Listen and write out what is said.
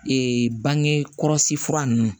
bange kɔlɔsi fura nunnu